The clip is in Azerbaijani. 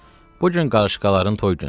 Bu gün qarışqaların toy günüdür.